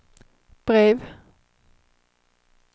brev